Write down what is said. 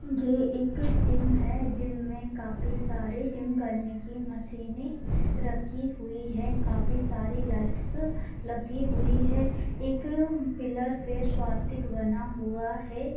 ए एक जिम है जिम में काफी सारे जिम करने की मसीने रखी हुई है काफी सारे लाइट्स लगी हुई है एक पिल्लर पे स्वातिक बना हुआ है।